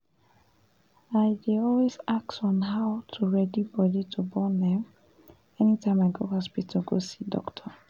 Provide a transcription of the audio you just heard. i um dey um always ask on how to ready body to born um anytime i go hospital go see doctor